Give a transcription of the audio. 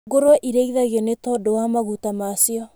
Ngũrũe irĩithagio nĩ tondũ wa maguta macio.